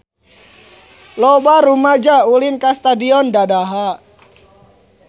Loba rumaja ulin ka Stadion Dadaha